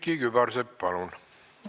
Külliki Kübarsepp, palun!